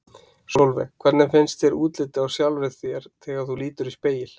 Sólveig: Hvernig finnst þér útlitið á sjálfri þér þegar þú lítur í spegil?